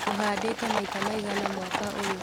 ũhandĩte maita maigana mwaka ũyũ.